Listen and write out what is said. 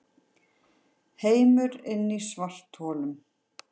Heimur inni í svartholum